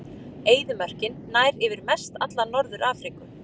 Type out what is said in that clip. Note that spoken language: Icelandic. Eyðimörkin nær yfir mestalla Norður-Afríku.